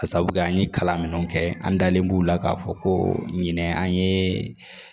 Ka sabu kɛ an ye kalan minnu kɛ an dalen b'u la k'a fɔ ko ɲinɛ an ye